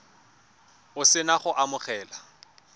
o se na go amogela